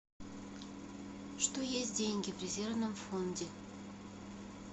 что есть деньги в резервном фонде